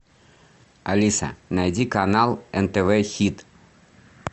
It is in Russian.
алиса найди канал нтв хит